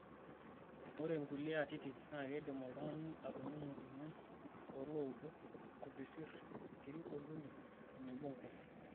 Ore nkulie atitin naa keidim oltung'ani atoning'o emion tooloudo, nkupesirr, nkiri ooltuli tenebo nkung'.